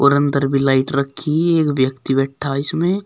और अंदर भी लाइट रखी है एक व्यक्ति बैठा इसमें--